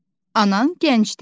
Anan gəncdir.